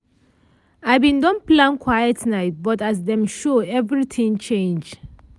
i bin don plan quiet night but as dem show everything change.